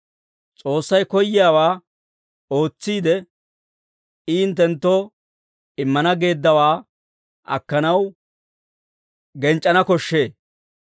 S'oossay koyyiyaawaa ootsiide, I hinttenttoo immana geeddawaa akkanaw genc'c'ana koshshee.